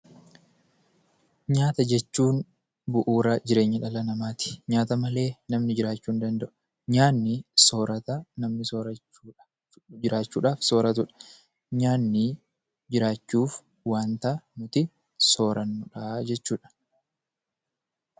Nyaata jechuun bu'uura jireenya dhala namaati. Nyaata malee namni jiraachuu hin danda'u. Nyaanni soorata namni jiraachuudhaaf sooratu jechuudha.